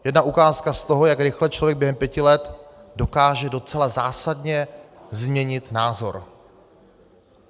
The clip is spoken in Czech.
Jedna ukázka z toho, jak rychle člověk během pěti let dokáže docela zásadně změnit názor.